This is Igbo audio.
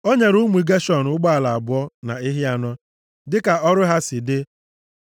O nyere ụmụ Geshọn ụgbọala abụọ na ehi anọ, dịka ọrụ ha si dị.